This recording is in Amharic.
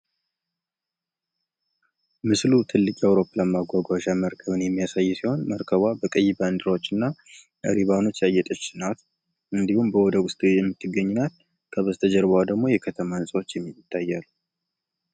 ምስሉ ትልቅ የአዉሮፕላን ማጓጓዣ መርከብን የሚያሳይ ሲሆን መርከቧ በቀይ ባንዲራዎች እና ሪባኖች ያጌጠች ናት። እንዲሁም በወደቡ ላይ የሚታይ ናት። ከወደ ኋላ ደግሞ ህንፃዎች ይታያሉ።